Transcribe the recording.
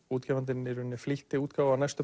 útgefandinn í rauninni flýtti útgáfu á næstu